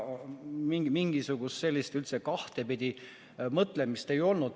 Mingisugust kahtepidi mõtlemist üldse ei olnud.